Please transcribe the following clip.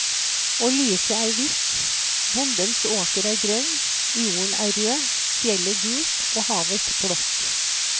Og lyset er hvitt, bondens åker er grønn, jorden er rød, fjellet gult og havet blått.